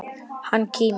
Hann kímir.